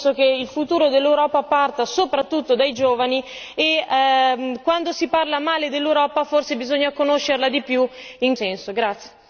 Ha tutto il nostro supporto e la nostra disponibilità, perché penso che il futuro dell'Europa parta soprattutto dai giovani e quando si parla male dell'Europa forse bisogna conoscerla di più in questo senso.